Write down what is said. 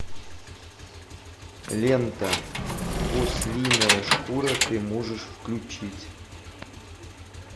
лента ослиная шкура ты можешь включить